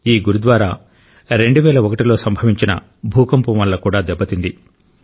ఈ గురుద్వారా 2001 లో సంభవించిన భూకంపం వల్ల కూడా దెబ్బతింది